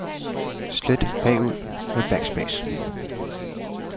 Slet bagud med backspace.